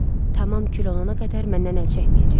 Tamam kül olana qədər məndən əl çəkməyəcək.